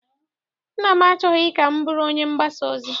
Nna m achọghị ka m bụrụ onye mgbasa ozi.